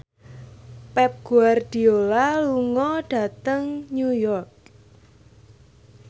Pep Guardiola lunga dhateng New York